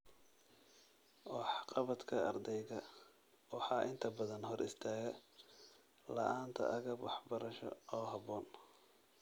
Waxqabadka ardayga waxaa inta badan hor istaaga la'aanta agab waxbarasho oo habboon.